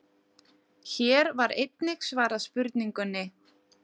Hér var einnig svarað spurningunni: